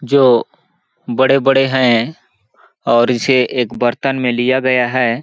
जो बड़े-बड़े है और इसे एक बर्तन में लिया गया हैं।